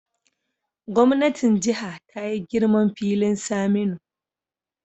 Gwamnatin Jiha ta yi girman filin Saminu